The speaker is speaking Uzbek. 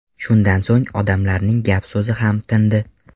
Shundan so‘ng odamlarning gap-so‘zi ham tindi.